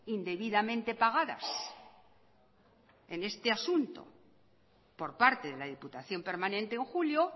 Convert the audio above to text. indebidamente pagadas en este asunto por parte de la diputación permanente en julio